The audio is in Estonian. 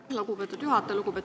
Aitäh, lugupeetud juhataja!